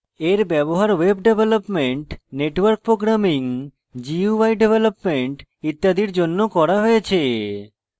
এর ব্যবহার web development network programming gui development ইত্যাদির জন্য করা হয়েছে